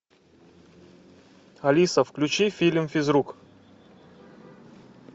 алиса включи фильм физрук